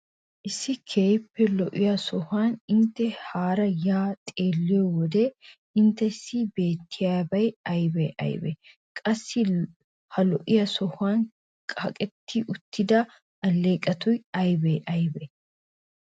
Issi keehippe lo'iya sohuwan intte haara yaa xeelliyo wode inttessi beettiyabay aybee aybee? Qassi ha lo'iya sohuwan kaqetti uttida alleeqoti aybee aybee?